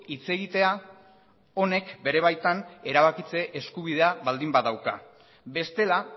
hitz egitea honek bere baitan erabakitze eskubidea baldin badauka bestela